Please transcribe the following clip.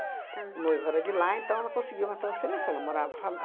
O noivo era de lá, então ela conseguiu uma transferência. Ela morava lá